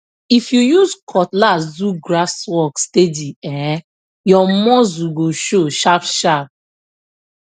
if you use cutlass do grass work steady um your muscle go show sharpsharp